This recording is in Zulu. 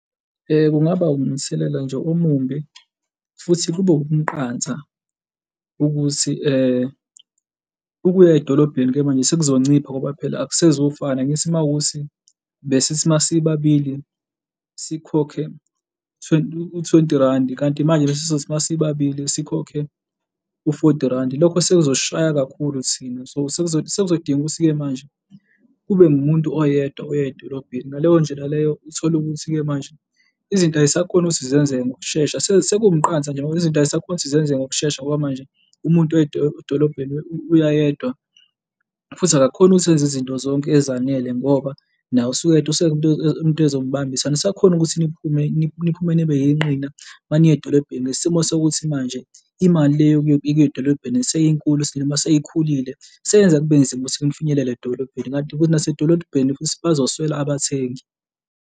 Kungaba umthelela nje omumbi futhi kube umqansa ukuthi ukuya edolobheni-ke manje sekuzoncipha ngoba phela akusezufana. Angithi uma kuwukuthi besithi uma sibabili sikhokhe twenty, u-twenty randi kanti manje uma sizothi uma sibabili sikhokhe u-forty randi. Lokho sekuzosishaya kakhulu thina so sekuzodinga ukuthi-ke manje kube ngumuntu oyedwa oya edolobheni. Ngaleyo ndlela leyo uthole ukuthi-ke manje izinto ay'sakhoni ukuthi zenzeke ngokushesha, sekuwumqansa nje izinto ay'sakhoni ukuthi zenzeke ngokushesha, ngoba manje umuntu oya edolobheni uya yedwa futhi akakhoni ukuthi enze izinto zonke ezanele ngoba naye usuke eyedwa usuke edinga umuntu ezombambisa. Anisakhoni ukuthi niphume, niphume nibe yinqina uma niya edolobheni, ngesimo sokuthi manje imali leyo yokuya edolobheni seyinkulu noma seyikhulile, seyenza kube nzima ukuthi nifinyelele edolobheni, kanti nasedolobheni futhi bazoswela abathengi.